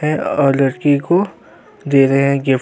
हैं और लड़की को दे रहे हैं गिफ्ट --